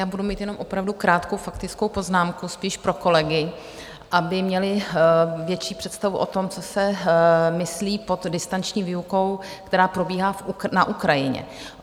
Já budu mít jenom opravdu krátkou faktickou poznámku spíš pro kolegy, aby měli větší představu o tom, co se myslí pod distanční výukou, která probíhá na Ukrajině.